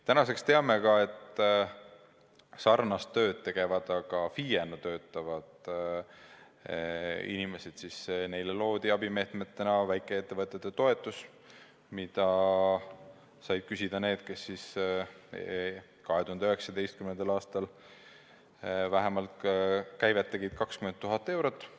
Tänaseks me teame ka seda, et sarnast tööd tegevatele, aga FIE-na töötavatele inimestele loodi abimeetmetena väikeettevõtete toetus, mida said küsida need, kes olid 2019. aastal saavutanud käivet vähemalt 20 000 eurot.